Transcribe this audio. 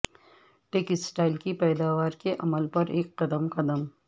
textile کی پیداوار کے عمل پر ایک قدم قدم